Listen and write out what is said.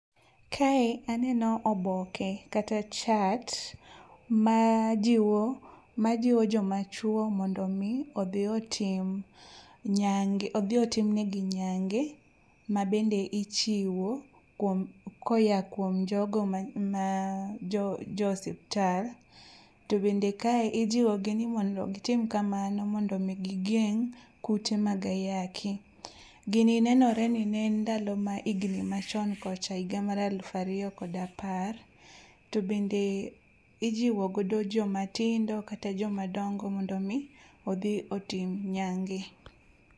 Kae aneno oboke kata chart ma jiwo joma chwo mondo omi odhi otimnegi nyange mabende ichiwo koya kuom jogo ma jo osiptal to bende kae ijiwogi ni mondo gitim kamamno mondo omi gigeng' kute mag ayaki. Gini nenore ni ne en ndalo ma higni machon kocha higa mar aluf ariyo kod apar to bende ijiwo godo jomatindo kata joma dongo mondo omi odhi otim nyange.